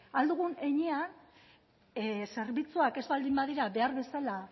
ahal dugun heinean zerbitzuak ez baldin badira behar bezala